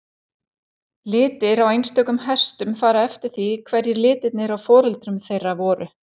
Litir á einstökum hestum fara eftir því hverjir litirnir á foreldrum þeirra voru.